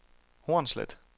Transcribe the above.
Hornslet